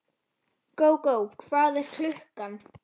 Gógó, hvað er klukkan?